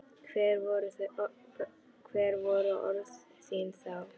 Hver voru orð þín þá?